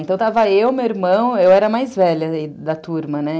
Então, estava eu, meu irmão... Eu era a mais velha da turma, né?